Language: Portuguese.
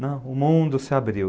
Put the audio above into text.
Não, o mundo se abriu.